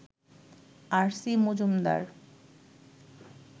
আর, C, Majumdar